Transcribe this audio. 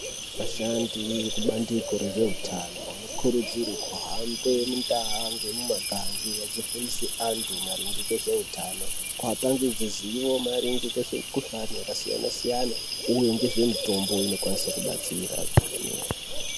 Vasahandi vebandiko rezveutano vanokurudzirwe kuhambe mundaa ngemumakange achifundise antu maringe ngezveutano. Kuapangidze zivo maringe ngezvemikuhlani yakasiyana-siyana uye ngezvemitombo inokwanise kubatsira kwemene.